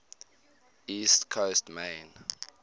east coast maine